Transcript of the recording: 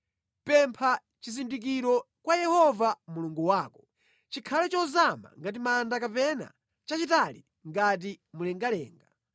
“Pempha chizindikiro kwa Yehova Mulungu wako, chikhale chozama ngati manda kapena chachitali ngati mlengalenga.”